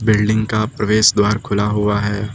Building का प्रवेश द्वार खुला हुआ है।